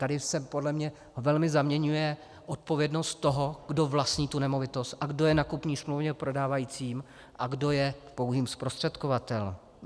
Tady se podle mě velmi zaměňuje odpovědnost toho, kdo vlastní tu nemovitost a kdo je na kupní smlouvě prodávajícím, a kdo je pouhým zprostředkovatelem.